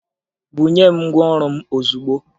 Bunye m ngwaọrụ m ozugbo!